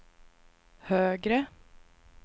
högre